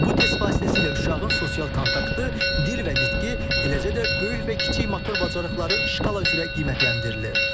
Bu test vasitəsilə uşağın sosial kontaktı, dil və nitqi, eləcə də böyük və kiçik motor bacarıqları şkala üzrə qiymətləndirilir.